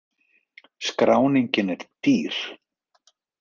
Skráningin er dýr